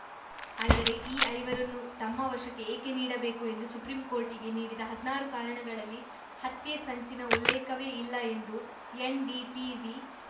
ಆದರೆ ಈ ಐವರನ್ನೂ ತಮ್ಮ ವಶಕ್ಕೆ ಏಕೆ ನೀಡಬೇಕು ಎಂದು ಸುಪ್ರೀಂಕೋರ್ಟಿಗೆ ನೀಡಿದ ಹದ್ನಾರು ಕಾರಣಗಳಲ್ಲಿ ಹತ್ಯೆ ಸಂಚಿನ ಉಲ್ಲೇಖವೇ ಇಲ್ಲ ಎಂದು ಎನ್‌ಡಿಟೀವಿ